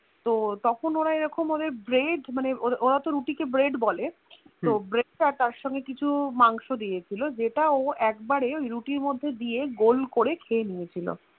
তখন ওরা এরকম ওদের Bread রুটি কে Bread বলে তো তার সঙ্গে কিছু কিছু মাংস দিয়েছিলো যেটা ও একবারে ওই রুটির মধ্যে দিয়ে গোল করে খেয়েনিয়েছিলো